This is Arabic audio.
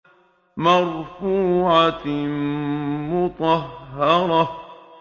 مَّرْفُوعَةٍ مُّطَهَّرَةٍ